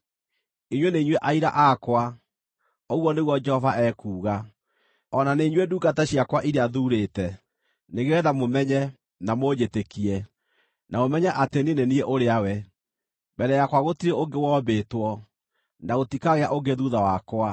“Inyuĩ nĩ inyuĩ aira akwa,” ũguo nĩguo Jehova ekuuga. “O na nĩ inyuĩ ndungata ciakwa iria thuurĩte nĩgeetha mũmenye, na mũnjĩtĩkie, na mũmenye atĩ niĩ nĩ niĩ ũrĩa we. Mbere yakwa gũtirĩ ũngĩ wombĩtwo, na gũtikagĩa ũngĩ thuutha wakwa.